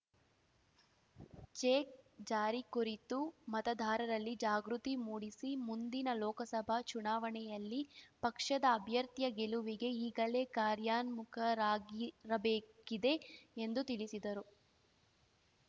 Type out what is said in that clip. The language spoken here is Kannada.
ಜೆ ಜಾರಿ ಕುರಿತು ಮತದಾರರಲ್ಲಿ ಜಾಗೃತಿ ಮೂಡಿಸಿ ಮುಂದಿನ ಲೋಕಸಭಾ ಚುನಾವಣೆಯಲ್ಲಿ ಪಕ್ಷದ ಅಭ್ಯರ್ಥಿಯ ಗೆಲುವಿಗೆ ಈಗಲೇ ಕಾರ್ಯಾನ್ಮುಖರಾಗಿರಬೇಕಿದೆ ಎಂದು ತಿಳಿಸಿದರು